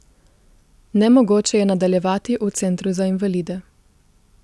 Nemogoče je nadaljevati v centru za invalide.